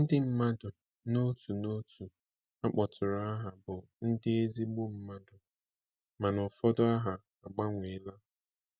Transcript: Ndị mmadụ n'otu n'otu a kpọtụrụ aha bụ ndị ezigbo mmadụ, mana ụfọdụ aha agbanweela.